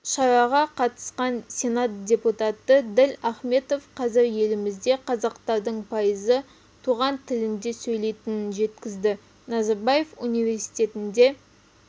шараға қатысқан сенат депутаты діл ахметов қазір елімізде қазақтардың пайызы туған тілінде сөйлейтінін жеткізді назарбаев университетінде